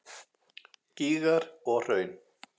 Gígar og hraun